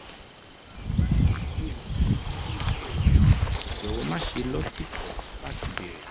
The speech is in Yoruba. bí o bá ní ìbéèrè mìíràn ní ìbéèrè mìíràn jọ̀wọ́ máṣe lọ́tìkọ̀ láti béèrè